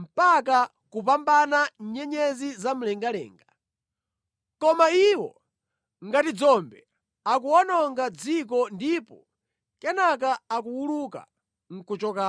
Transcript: mpaka kupambana nyenyezi za mlengalenga, koma iwo ngati dzombe akuwononga dziko ndipo kenaka akuwuluka nʼkuchoka.